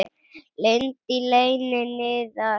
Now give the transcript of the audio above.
Lind í leyni niðar.